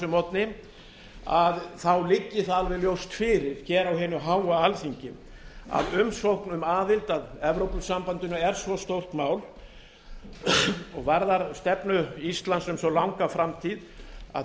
morgni liggi það alveg ljóst fyrir á hinu háa alþingi að umsókn um aðild að evrópusambandinu er svo stórt mál og varðar stefnu íslands um svo langa framtíð að